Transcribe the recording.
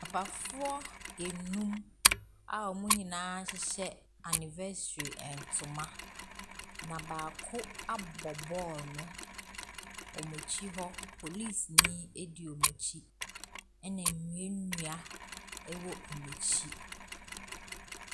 Papafoɔ enum a wɔn nyinaa hyehyɛ anniversary ntoma. Na baako abɔ ball no. wɔn akyi hɔ, polisini di wɔn akyi. ℇna nnuannua wɔ wɔn akyi.